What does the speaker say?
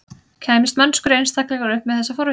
Kæmist mennskur einstaklingur upp með þessa forvitni?